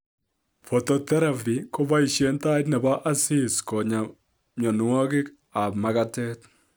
Phototherapy kopaisien tait nebo asis konyaa myonwokik ak magetet